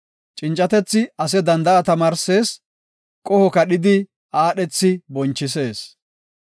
Cincatethi ase danda7a tamaarsees; qoho kadhidi aadhethi bonchisees.